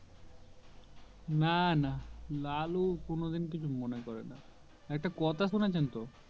না না লালু কোনো দিন কিছু মনে করে না একটা কথা শুনেছেন তো